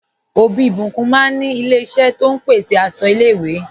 Ọbí Ìbíkún máa ní ilẹ̀ ìṣẹ̀ tó n pèsè àṣọ ilẹ̀-ìwé.